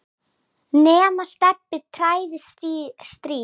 nema Stebbi træði strý.